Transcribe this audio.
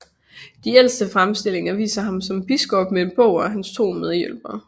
De ældste fremstillinger viser ham som biskop med en bog og hans to medhjælpere